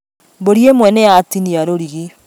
Mbũri ĩmwe nĩyatinia rũrigi